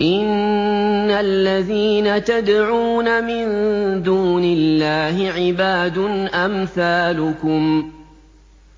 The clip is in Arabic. إِنَّ الَّذِينَ تَدْعُونَ مِن دُونِ اللَّهِ عِبَادٌ أَمْثَالُكُمْ ۖ